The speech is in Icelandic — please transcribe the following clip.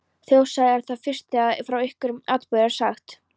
Þjóðsaga er það fyrst, þegar frá einhverjum atburði er sagt.